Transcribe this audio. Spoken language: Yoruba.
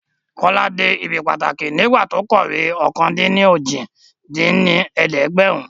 Kọ́lá dé ibi pàtàkì nígbà tó kọ̀wé ọ̀kan-dín-ní-ojì dín ní ẹ̀ẹ́dẹ́gbẹ́rún